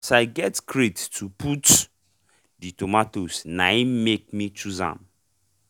as i get crate to put the tomatoes nain make me chose am